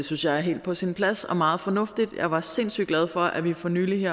synes jeg er helt på sin plads og meget fornuftigt jeg var sindssygt glad for at vi for nylig